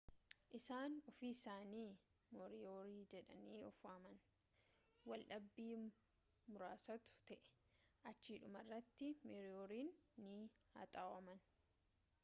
isaan ofiisaanii moriyoorii jedhanii of waaman waldhabii muraasatu ture achii dhumarratti mooriyooriin ni haxaawaman